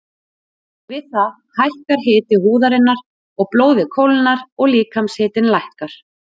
Við það hækkar hiti húðarinnar og blóðið kólnar og líkamshitinn lækkar.